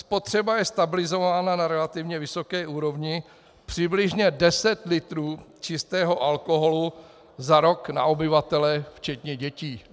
Spotřeba je stabilizována na relativně vysoké úrovni přibližně 10 litrů čistého alkoholu za rok na obyvatele včetně dětí.